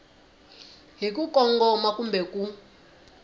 hi ku kongoma kumbe ku